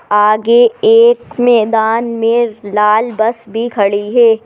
आगे एक मैदान में लाल बस भी खड़ी है।